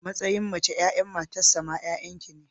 A matsayin mace, 'ya'yan matarsa ma 'ya'yan ki ne.